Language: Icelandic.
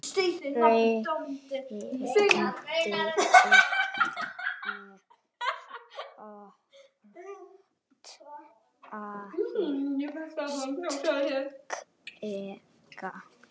Rindill með svart alskegg